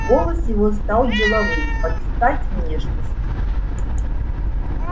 голос его стал деловым под стать внешности